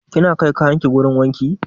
Kina kai kayan ki wurin wanki?